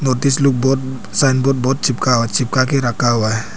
लोग बहोत sign board बहोत चिपका चिपकाके रखा हुआ है।